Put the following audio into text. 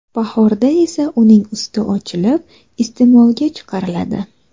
Bahorda esa uning usti ochilib, iste’molga chiqariladi.